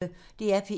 DR P1